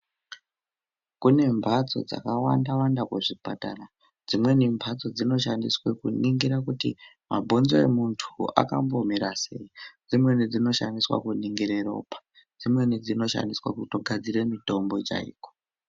Kune mbatso dzakawanda wanda kuzvipatara. Dzimweni mbatso dzinoshandiswa kuningire kuti mabhonzo emuntu akambomira sei. Dzimweni dzinoshandiswa kuningire ropa. Dzimweni dzinoshandiswa kutogadzire mutombo chaiko.